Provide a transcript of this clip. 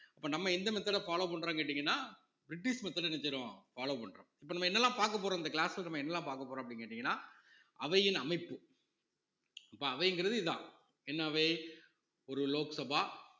அப்ப நம்ம எந்த method அ follow பண்றோம்னு கேட்டீங்கன்னா பிரிட்டிஷ் method என்ன செய்றோம் follow பண்றோம் இப்ப நம்ம என்னெல்லாம் பாக்க போறோம் இந்த class ல நம்ம என்னெல்லாம் பாக்கப் போறோம் அப்படின்னு கேட்டீங்கன்னா அவையின் அமைப்பு அப்ப அவைங்கிறது இதுதான் என்ன அவை ஒரு லோக்சபா